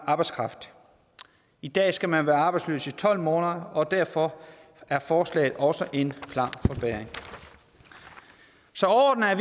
arbejdskraft i dag skal man være arbejdsløs i tolv måneder og derfor er forslaget også en klar forbedring så overordnet er